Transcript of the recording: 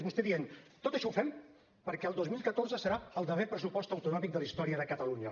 vostè dient tot això ho fem perquè el dos mil catorze serà el darrer pressupost autonòmic de la història de catalunya